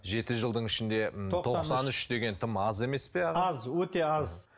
жеті жылдың ішінде м тоқсан үш деген тым аз емес пе аз өте аз